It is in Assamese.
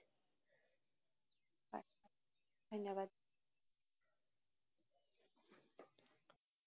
হয়, ধন্যবাদ।